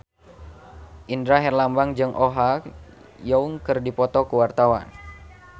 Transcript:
Indra Herlambang jeung Oh Ha Young keur dipoto ku wartawan